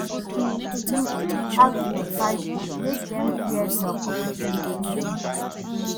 You fit ask your circle make dem share job opportunity give you